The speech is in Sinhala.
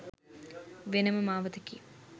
වෙන ම මාවතකි.